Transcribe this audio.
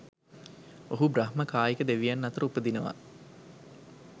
ඔහු බ්‍රහ්ම කායික දෙවියන් අතර උපදිනවා.